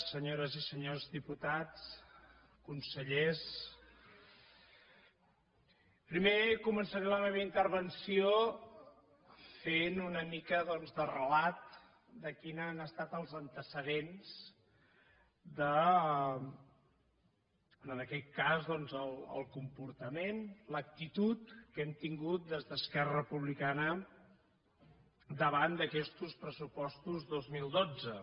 senyores i senyors diputats consellers primer començaré la meva intervenció fent una mica doncs de relat de quins han estat els antecedents de en aquest cas doncs el comportament l’actitud que hem tingut des d’esquerra republicana davant d’aquestos pressupostos dos mil dotze